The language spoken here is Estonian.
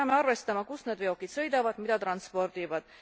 Me peame arvestama, kus need veokid sõidavad ja mida transpordivad.